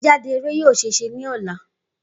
Igbejade eré yoo ṣee ṣe ni ọla.